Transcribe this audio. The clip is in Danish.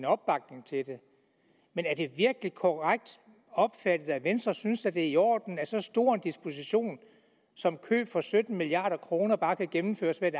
opbakning til det men er det virkelig korrekt opfattet at venstre synes det er i orden at en så stor disposition som køb for sytten milliard kroner bare kan gennemføres ved et